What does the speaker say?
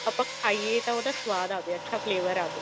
ਆਪਾਂ ਖਾਈਏ ਤਾਂ ਉਹਦਾ ਅੱਛਾ ਸਵਾਦ ਆਵੇ flavor ਆਵੇ